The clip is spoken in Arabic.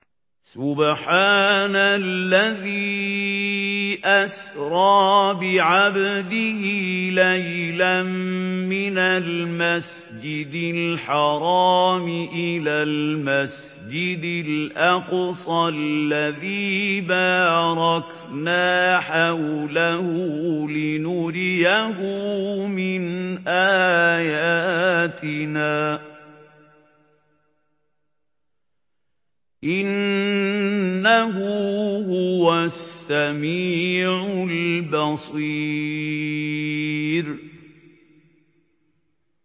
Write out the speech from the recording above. سُبْحَانَ الَّذِي أَسْرَىٰ بِعَبْدِهِ لَيْلًا مِّنَ الْمَسْجِدِ الْحَرَامِ إِلَى الْمَسْجِدِ الْأَقْصَى الَّذِي بَارَكْنَا حَوْلَهُ لِنُرِيَهُ مِنْ آيَاتِنَا ۚ إِنَّهُ هُوَ السَّمِيعُ الْبَصِيرُ